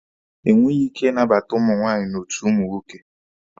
E nweghi ike ị nabata ụmụ nwaanyị n'otu ụmụ nwoke.